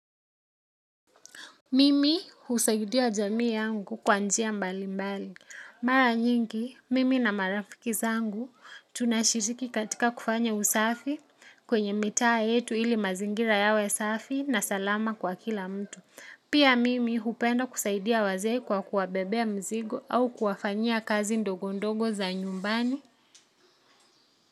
Mimi husaidia jamii yangu kwa njia mbali mbali. Mara nyingi, mimi na marafiki zangu tunashiriki katika kufanya usafi kwenye mitaa yetu ili mazingira yawe safi na salama kwa kila mtu. Pia mimi hupenda kusaidia wazee kwa kuwabebea mizigo au kuwafanyia kazi ndogo ndogo za nyumbani.